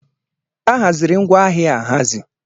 Ahaziri ngwa ahịa ahazi.